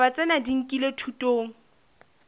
ditaba tsena di nkilwe thutong